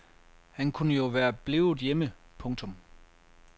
Han kunne jo være blevet hjemme. punktum